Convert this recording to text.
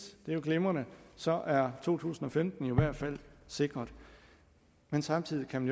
det er glimrende så er to tusind og femten i hvert fald sikret men samtidig kan